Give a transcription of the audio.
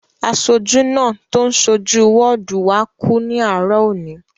Aṣojú náà tó so jú wọ́ọ̀dù wá kú ní àárọ̀ òní